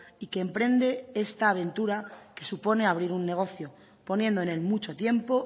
y que emprende esta aventura que supone abrir un negocio poniendo en él mucho tiempo